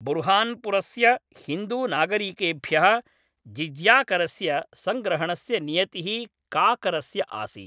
बुर्हान्पुरस्य हिन्दूनागरिकेभ्यः जिज़्याकरस्य सङ्ग्रहणस्य नियतिः काकरस्य आसीत्।